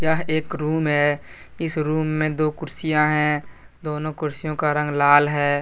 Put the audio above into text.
यह एक रूम है। इस रूम मे दो कुर्सियां हैं। दोनों कुर्सियों का रंग लाल है।